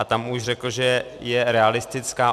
A tam už řekl, že je realistická.